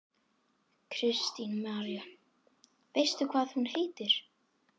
Kristín María: Veistu hvað hún heitir?